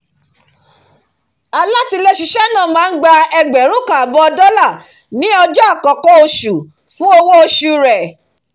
alátiléṣiṣẹ́ náà máa ń gba ẹgbẹ̀rún kan àbọ̀ dollar ni ọjọ́ àkọ́kọ́ nínú oṣù fún owó oṣù rẹ̀